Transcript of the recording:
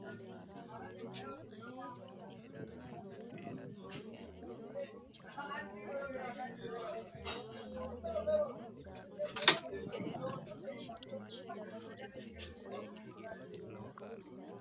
Isayyo Borreessa Biddissa Konni woroonni shiqino giraafete qiniishshi giddo umi barra shiqqino niwaaweta qara hedo xaphi assite fanu dargira borreessi.